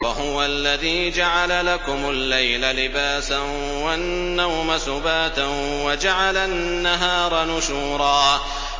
وَهُوَ الَّذِي جَعَلَ لَكُمُ اللَّيْلَ لِبَاسًا وَالنَّوْمَ سُبَاتًا وَجَعَلَ النَّهَارَ نُشُورًا